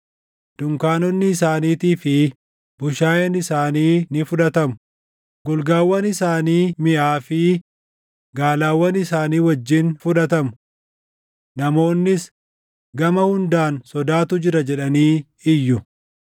Dunkaanonni isaaniitii fi bushaayeen isaanii ni fudhatamu; golgaawwan isaanii miʼaa fi gaalawwan isaanii wajjin fudhatamu. Namoonnis, ‘Gama hundaan sodaatu jira!’ jedhanii iyyu.